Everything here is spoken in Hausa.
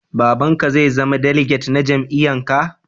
Baba'n ka zai zama diliget na jami'yyan ka?